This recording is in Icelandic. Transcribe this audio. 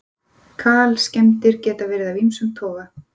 Kalskemmdir geta verið af ýmsum toga.